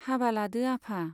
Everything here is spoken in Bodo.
हाबा लादो आफा।